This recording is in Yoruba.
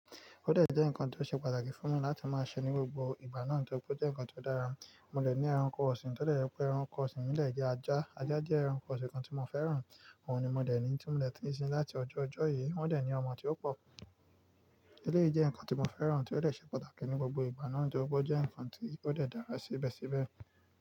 Ó dẹ̀ jẹ́ ǹkan tó ṣe pàtàkì fún mi láti máa ṣe ní gbogbo ìgbà náà torípé ó jẹ́ ǹkan tó dára. Mo lè ní ẹranko ọ̀sìn, tó dẹ̀ rẹ pé ẹranko ọ̀sìn nílẹ̀ jẹ́ ajá. Ajá jẹ́ ẹranko ọ̀sìn kan tí mo fẹ́ràn. Òun ni mo dẹ̀ ní tí mo lè ti ń sin láti ọjọ́ ọjọ́ yìí. Wọ́n dẹ̀ ní ọmọ tí ó pọ̀. Eléyìí jẹ́ ǹkan tí mo fẹ́ràn tí ó dẹ̀ ṣe pàtàkì ní gbogbo ìgbà náà torípé ó jẹ́ ǹkan tí ó dẹ̀ dára síbẹ̀síbẹ̀.